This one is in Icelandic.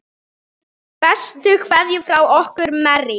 Bestu kveðjur frá okkur Marie.